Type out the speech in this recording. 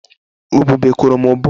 Ubube kụrụ m ubu